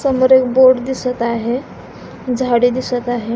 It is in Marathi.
समोर एक बोर्ड दिसत आहे झाडे दिसत आहे.